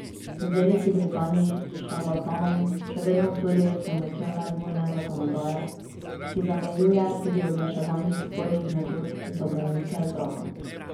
V Veliki Britaniji šarlatanom še vedno sodijo s pomočjo medvojne zakonodaje, ki zamejuje tudi oglaševanje spornih metod za bolnike z rakom.